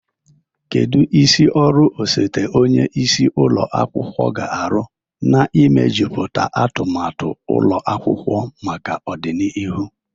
Kedu isi ọrụ osote onye isi ụlọ akwụkwọ ga-arụ n'imejuputa atụmatụ ụlọ akwụkwọ maka ọdịnihu?